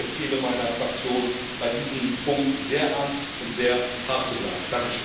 Ich empfehle meiner Fraktion, bei diesem Punkt sehr ernst und sehr hart zu bleiben.